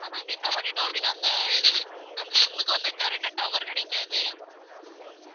ஆனா நாங்க என்ன பண்ணிட்டோம் அப்டினா இந்த அந்த SIM க்கு வந்து correct ஆ tower கிடைக்காது